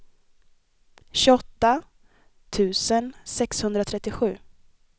tjugoåtta tusen sexhundratrettiosju